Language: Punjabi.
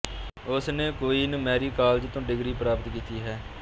ਉਸਨੇ ਕੁਈਨ ਮੈਰੀ ਕਾਲਜ ਤੋਂ ਡਿਗਰੀ ਪ੍ਰਾਪਤ ਕੀਤੀ ਹੈ